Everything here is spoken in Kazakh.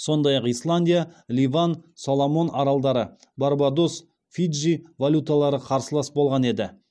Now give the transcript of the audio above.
сондай ақ исландия ливан соломон аралдары барбадос фиджи валюталары қарсылас болған еді